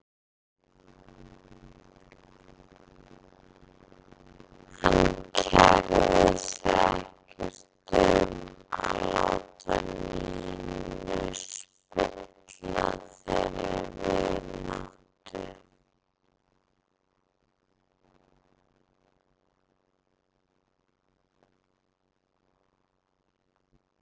Hann kærði sig ekkert um að láta Nínu spilla þeirri vináttu.